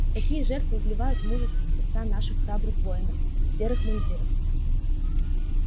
такие жертвы вливают мужество в сердца наших храбрых воинов в серых мундирах